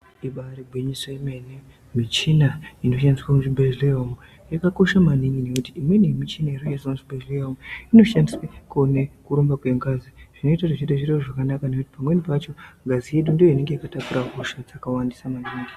Ibayiri gwinyiso yemene, michina inoshandiswa muzvibhedhlera umwo yakakosha maningi ngokuti michini inoizwa muchibhedhleya umwo inoshandiswe kuone kurumba kwengazi zvinoita kuti zviro zvimire zvakanaka ngokuti pamweni pacho ngazi yedu ndiyo inenge yakatakura hosha yakawanda maningi.